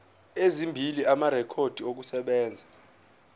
ezimbili amarekhodi okusebenza